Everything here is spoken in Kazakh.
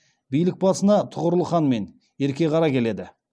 билік басына тұғырыл хан мен ерке қара келеді